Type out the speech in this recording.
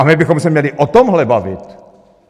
A my bychom se měli o tomhle bavit.